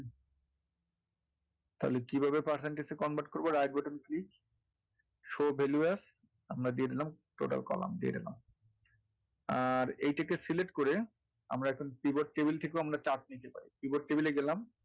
তাহলে কীভাবে percentage এ convert করবো right button click আমরা দিয়ে দিলাম total coloumn আমরা দিয়ে দিলাম আর এটাকে select করে আমরা এখন table থেকেও chart নিতে পারি jkeyboard table এ গেলাম,